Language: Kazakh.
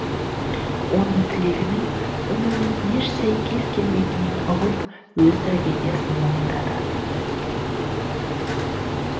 оның тілегінің өмірмен еш сәйкес келмейтінін ұғып өз трагедиясын мойындады